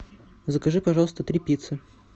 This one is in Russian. закажи пожалуйста три пиццы